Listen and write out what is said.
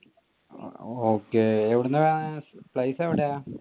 okay എവിടെന്നാ place എവിടെയാ?